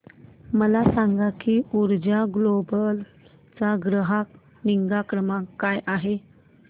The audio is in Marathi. मला सांग की ऊर्जा ग्लोबल चा ग्राहक निगा क्रमांक काय आहे